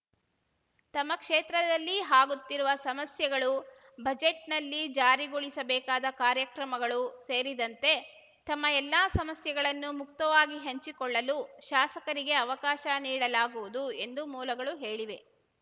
ತಮ್ಮ ಕ್ಷೇತ್ರದಲ್ಲಿ ಹಾಗುತ್ತಿರುವ ಸಮಸ್ಯೆಗಳು ಬಜೆಟ್‌ನಲ್ಲಿ ಜಾರಿಗೊಳಿಸಬೇಕಾದ ಕಾರ್ಯಕ್ರಮಗಳು ಸೇರಿದಂತೆ ತಮ್ಮ ಎಲ್ಲಾ ಸಮಸ್ಯೆಗಳನ್ನು ಮುಕ್ತವಾಗಿ ಹಂಚಿಕೊಳ್ಳಲು ಶಾಸಕರಿಗೆ ಅವಕಾಶ ನೀಡಲಾಗುವುದು ಎಂದು ಮೂಲಗಳು ಹೇಳಿವೆ